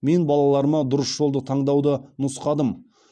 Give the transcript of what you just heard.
мен балаларыма дұрыс жолды таңдауды нұсқадым